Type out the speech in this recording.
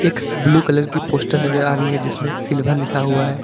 एक blue colour की poster नजर आ रही है जिसमें सिल्वर लिखा हुआ है।